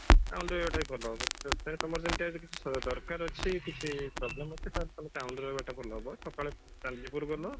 town ରେ ରହିବାଟା ବି ଭଲ ହବ ଯଦି ତମର ସେମିତିଆ କିଛି ଦରକାର ଅଛି କିଛି problem ଅଛି ତାହେଲେ ତମେ town ରେ ରହିବାଟା ଭଲ ହବ ସକାଳେ ଚାନ୍ଦିପୁର ଗଲ